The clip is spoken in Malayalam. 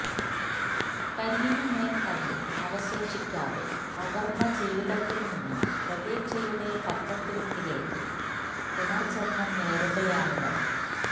കല്ലിന് മേല് കല്ല് അവശേഷിക്കാതെ തകര്ന്ന ജീവിതത്തില് നിന്ന് പ്രതീക്ഷയുടെ പച്ചത്തുരുത്തിലേക്ക് പുനര്ജന്മം നേടുകയാണിവര്